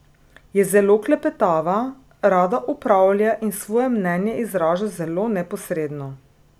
Je zelo klepetava, rada opravlja in svoje mnenje izraža zelo neposredno.